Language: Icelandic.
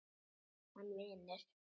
Hann vinnur.